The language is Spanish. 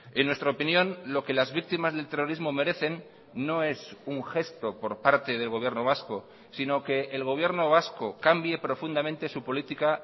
en nuestra opinión lo que las víctimas del terrorismo merecen no es un gesto por parte del gobierno vasco sino que el gobierno vasco cambie profundamente su política